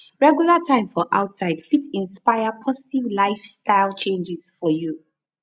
regular time for outside fit inspire positive lifestyle changes for you